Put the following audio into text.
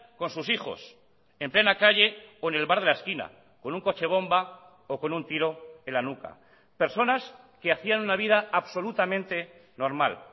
con sus hijos en plena calle o en el bar de la esquina con un coche bomba o con un tiro en la nuca personas que hacían una vida absolutamente normal